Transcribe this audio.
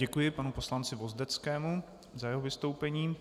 Děkuji panu poslanci Vozdeckému za jeho vystoupení.